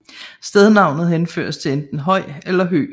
Stednavnet henføres til enten høj eller hø